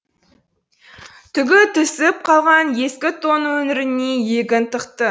түгі түсіп қалған ескі тонның өңіріне иегін тықты